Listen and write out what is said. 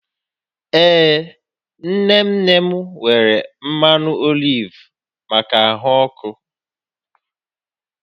Ee nne nne m nwere mmanụ oliv maka ahụ ọkụ